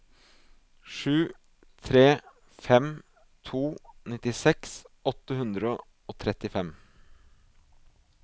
sju tre fem to nittiseks åtte hundre og trettifem